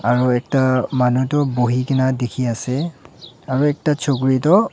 aro ekta manu tu buhi gina dikhi ase aro ekta chukiri toh--